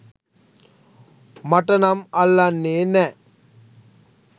මට නම් අල්ලන්නේ නෑ.